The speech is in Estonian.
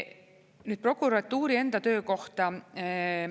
Nüüd prokuratuuri enda töö kohta.